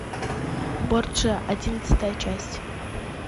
борджиа одиннадцатая часть